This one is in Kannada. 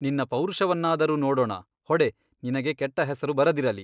ನಿನ್ನ ಪೌರುಷವನ್ನಾದರೂ ನೋಡೋಣ ಹೊಡೆ ನಿನಗೆ ಕೆಟ್ಟ ಹೆಸರು ಬರದಿರಲಿ.